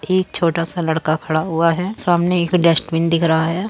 एक छोटा सा लड़का खड़ा हुआ है। सामने एक डस्टबिन दिख रहा है।